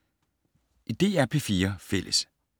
DR P4 Fælles